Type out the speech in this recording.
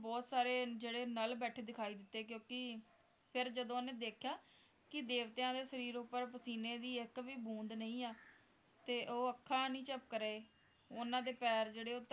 ਬਹੁਤ ਸਾਰੇ ਜਿਹੜੇ ਨਲ ਬੈਠੇ ਦਿਖਾਈ ਦਿੱਤੇ ਫਿਰ ਜਦੋਂ ਓਹਨੇ ਦੇਖਿਆ ਕਿ ਦੇਵਤਿਆਂ ਦੇ ਸ਼ਰੀਰ ਉੱਪਰ ਪਸੀਨੇ ਦੀ ਇੱਕ ਵੀ ਬੂੰਦ ਨਹੀਂ ਹੈ ਤੇ ਉਹ ਅੱਖਾਂ ਨਹੀਂ ਝਪਕ ਰਹੇ ਉਨ੍ਹਾਂ ਦੇ ਪੈਰ ਜਿਹੜੇ ਉਹ